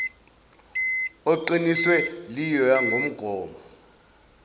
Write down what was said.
oqinisiwe liyoya nngomgomo